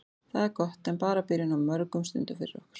Það er gott en bara byrjun á mörgum stundum fyrir okkur.